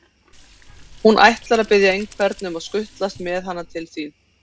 Hún ætlar að biðja einhvern að skutlast með hana til þín.